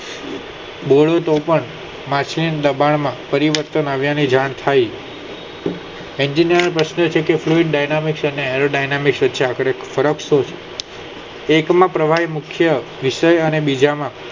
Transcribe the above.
બોલું તો પણ માછલીના દબાણ માં કરિ ને તેની જાણ થાય engineer કહે છે કે બસ એનો ડાયામી ના ચોપડી ફરક શું છે એક માં પ્રવાહી મુખ્ય ક્ષય અને